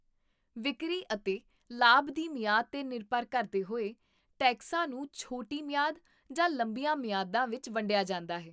ਵਿਕਰੀ ਅਤੇ ਲਾਭ ਦੀ ਮਿਆਦ 'ਤੇ ਨਿਰਭਰ ਕਰਦੇ ਹੋਏ, ਟੈਕਸਾਂ ਨੂੰ ਛੋਟੀ ਮਿਆਦ ਜਾਂ ਲੰਬੀਆਂ ਮਿਆਦਾਂ ਵਿੱਚ ਵੰਡਿਆ ਜਾਂਦਾ ਹੈ